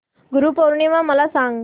गुरु पौर्णिमा मला सांग